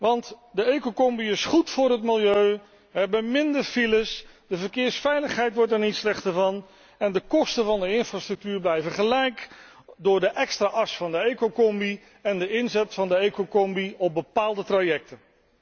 Want de ecocombi is goed voor het milieu wij hebben minder files, de verkeersveiligheid wordt er niet slechter op en de kosten van de infrastructuur blijven gelijk door de extra as van de ecocombi en de inzet van de ecocombi op bepaalde trajecten.